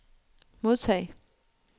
modtag